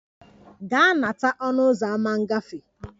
Gaa na-anakọta a ọnụ ụzọ ámá ngafe!